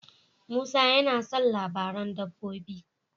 Musa tana son labaran dabbobi.